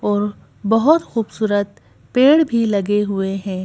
और बहोत खूबसूरत पेड़ भीं लगे हुए हैं।